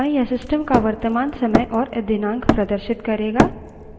यह system का वर्तमान समय और दिनांक प्रदर्शित करेगा